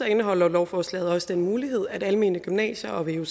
indeholder lovforslaget også den mulighed at almene gymnasier og